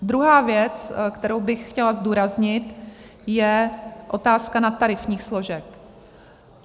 Druhá věc, kterou bych chtěla zdůraznit, je otázka nadtarifních složek.